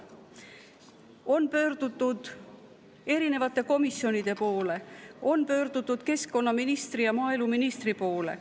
On pöördutud erinevate komisjonide poole, on pöördutud keskkonnaministri ja maaeluministri poole.